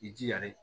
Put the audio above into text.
I jija dɛ